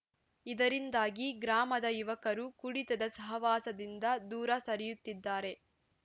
ಇದರಿಂದಾಗಿ ಗ್ರಾಮದ ಯುವಕರು ಕುಡಿತದ ಸಹವಾಸದಿಂದ ದೂರ ಸರಿಯುತ್ತಿದ್ದಾರೆ